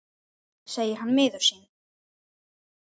segir hann miður sín.